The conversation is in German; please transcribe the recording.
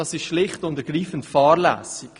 sie ist schlicht und ergreifend fahrlässig.